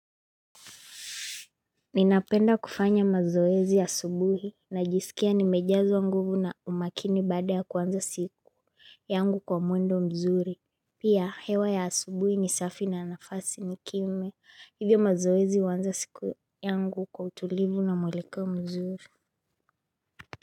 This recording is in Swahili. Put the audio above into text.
Ninapenda kufanya mazoezi asubuhi, najisikia nimejazwa nguvu na umakini baada ya kuanza siku yangu kwa mwendo mzuri. Pia hewa ya asubuhi ni safi na nafasi ni kimya, hivyo mazoezi huanza siku yangu kwa utulivu na mwelekeo mzuri.